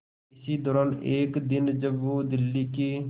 इसी दौरान एक दिन जब वो दिल्ली के